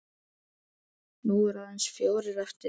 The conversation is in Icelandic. Nú eru aðeins fjórir eftir.